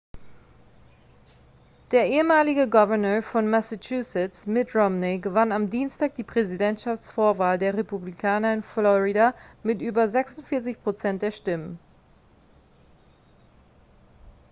der ehemalige gouverneur von massachusetts mitt romney gewann am dienstag die präsidentschaftsvorwahl der republikaner in florida mit über 46 prozent der stimmen